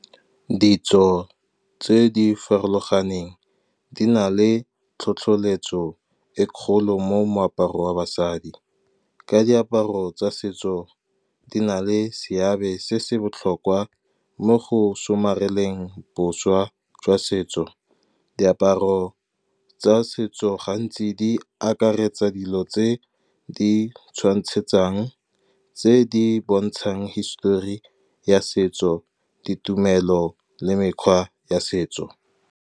Ditso tse di farologaneng di na le tlhotlheletso e kgolo mo moaparong wa basadi, ka diaparo tsa setso di na le seabe se se botlhokwa mo go somareleng boswa jwa setso. Diaparo tsa setso gantsi di akaretsa dilo tse di tshwantshetsang, tse di bontshang hisitori ya setso, ditumelo le mekgwa ya setso.